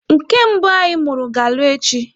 Nke mbụ anyị mụrụ ga-alụ echi.